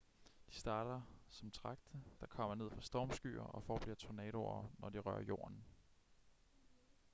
de starter som tragte der kommer ned fra stormskyer og bliver tornadoer når de rører jorden